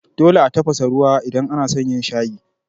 Dole a tafasa ruwa idan anason yin shayi.